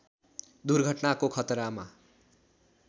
दुर्घटनाको खतरामा